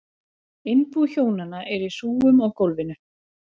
Innbú hjónanna er í hrúgum á gólfum.